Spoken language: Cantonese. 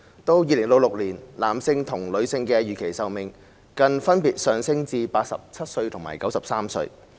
到2066年，男性和女性的預期壽命更分別上升至87歲和93歲。